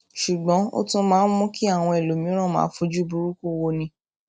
ṣùgbọn ó tún máa ń mú kí àwọn ẹlòmíràn máa fojú burúkú woni